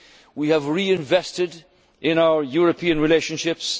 Presidency. We have re invested in our European relationships.